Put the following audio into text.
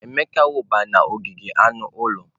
Emeka wụba n'ogige anụ ụlọ.